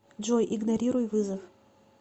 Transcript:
джой игнорируй вызов